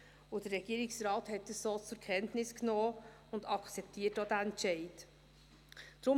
Der Regierungsrat hat dies so zur Kenntnis genommen und akzeptiert diesen Entscheid auch.